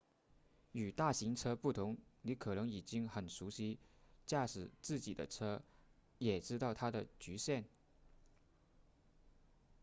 与大型车不同你可能已经很熟悉驾驶自己的车也知道它的局限